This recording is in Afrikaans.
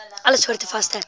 alle soorte vaste